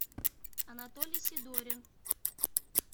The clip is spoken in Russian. анатолий сидорин